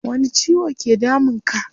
Wani ciwo ke damun ka?